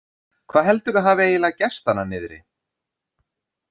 Hvað heldurðu að hafi eiginlega gerst þarna niðri?